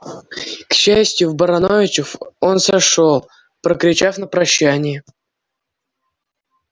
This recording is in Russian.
к счастью в барановичах он сошёл прокричав на прощание